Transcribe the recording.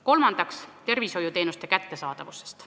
Kolmandaks, tervishoiuteenuste kättesaadavus.